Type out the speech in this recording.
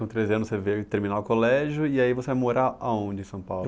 Com treze anos você veio terminar o colégio, e aí você ia morar aonde em São Paulo?